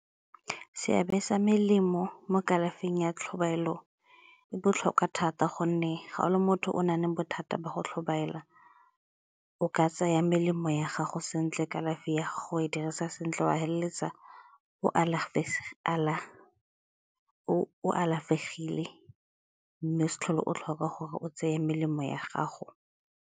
Seabe sa melemo mo kalafing ya tlhobaelo e botlhokwa thata gonne ga o le motho o na leng bothata ba go tlhobaela o ka tsaya melemo ya gago sentle kalafi ya gore dirisa sentle wa feleletsa o alafegile mme o se tlhole o tlhoka gore o tseye melemo ya gago.